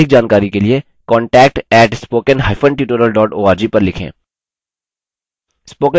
अधिक जानकारी के लिए contact @spokentutorial org पर लिखें